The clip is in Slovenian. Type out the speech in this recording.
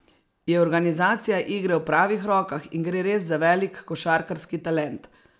Je organizacija igre v pravih rokah in gre res za velik košarkarski talent?